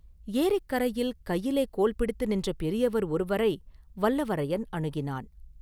ஏரிக்கரையில் கையிலே கோல் பிடித்து நின்ற பெரியவர் ஒருவரை வல்லவரையன் அணுகினான்.